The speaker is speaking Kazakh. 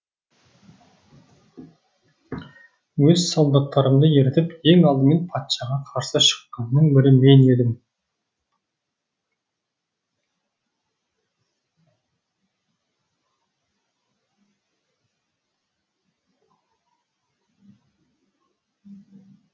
өз солдаттарымды ертіп ең алдымен патшаға қарсы шыққанның бірі мен едім